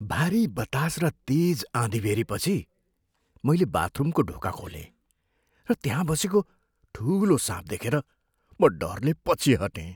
भारी बतास र तेज आँधीबेहरीपछि मैले बाथरुमको ढोका खोलेँ र त्यहाँ बसेको ठुलो साँपलाई देखेर म डरले पछि हटेँ।